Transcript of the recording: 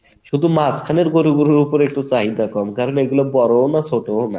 শুধু মাঝখানের গরুগুলার উপরে একটু চাহিদা কম কারণ এইগুলা বড়ো ও না ছোট ও না